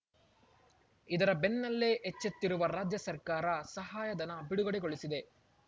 ಇದರ ಬೆನ್ನಲ್ಲೇ ಎಚ್ಚೆತ್ತಿರುವ ರಾಜ್ಯ ಸರ್ಕಾರ ಸಹಾಯಧನ ಬಿಡುಗಡೆಗೊಳಿಸಿದೆ